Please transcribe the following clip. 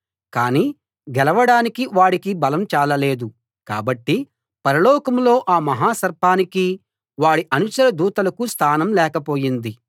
కానీ గెలవడానికి వాడి బలం చాలలేదు కాబట్టి పరలోకంలో ఆ మహా సర్పానికీ వాడి అనుచర దూతలకూ స్థానం లేకపోయింది